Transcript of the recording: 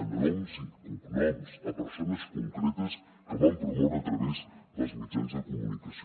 amb noms i cognoms a persones concretes que van promoure a través dels mitjans de comunicació